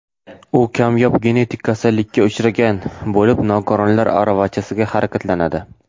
U kamyob genetik kasallikka uchragan bo‘lib, nogironlar aravachasida harakatlanadi.